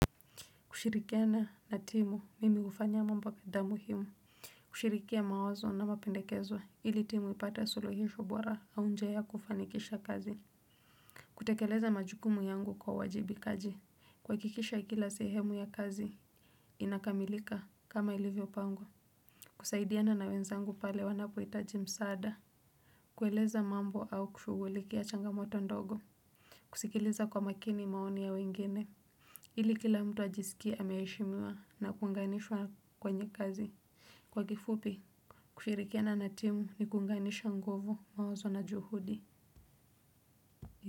Kushirikiana na timu mimi hufanya mambo kadhaa muhimu. Kushirikia mawazo na mapendekezo ili timu ipate suluhisho bora au njia ya kufanikisha kazi. Kutekeleza majukumu yangu kwa uajibikaji, kuhakikisha kila sehemu ya kazi inakamilika kama ilivyopangwa. Kusaidiana na wenzangu pale wanapohitaji msaada. Kueleza mambo au kushugulikia changamoto ndogo. Kusikiliza kwa makini maoni ya wengine ili kila mtu ajisikie ameheshimiwa na kuunganishwa kwenye kazi. Kwa kifupi, kushirikiana na timu ni kuunganisha nguvu, mawazo na juhudi.